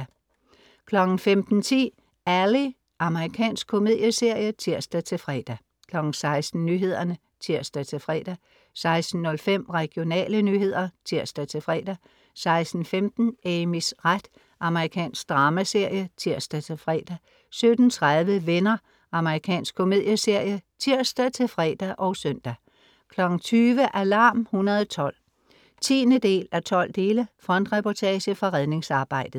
15.10 Ally. Amerikansk komedieserie (tirs-fre) 16.00 Nyhederne (tirs-fre) 16.05 Regionale nyheder (tirs-fre) 16.15 Amys ret. Amerikansk dramaserie (tirs-fre) 17.30 Venner. Amerikansk komedieserie (tirs-fre og søn) 20.00 Alarm 112 10:12 frontreportage fra redningsarbejdet